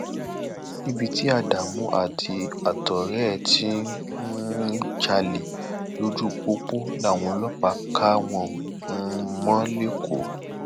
níbi tí ádámù àtọrẹ ẹ ti um ń jalè lójú pópó làwọn ọlọpàá ká wọn um mọ lẹkọọ